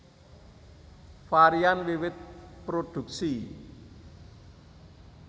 Varian wiwit produksi